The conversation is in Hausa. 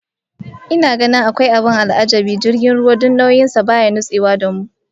Ina ganin akwai abin al'ajabi ga jirgin ruwa, duk nauyin sa baya nutsewa da mu